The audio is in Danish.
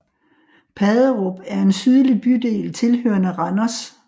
Paderup er en sydlig bydel tilhørende Randers